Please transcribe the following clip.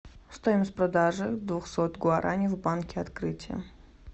стоимость продажи двухсот гуарани в банке открытие